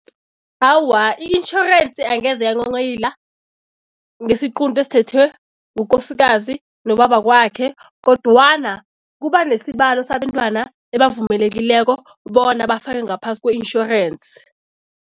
Awa, i-insurance angeze yanghonghoyila ngesiqunto esithethwe ngukosikazi nobabakwakhe kodwana kuba nesibalo sabentwana ebavumelekileko bona bafake ngaphasi kwe-insurance.